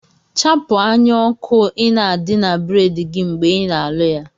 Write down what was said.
Chapu anya oku ina adi na bread gi mgbe ia aluya